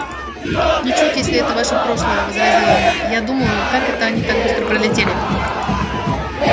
ничуть если это ваше прошлое возразила она я думаю как это они так быстро пролетели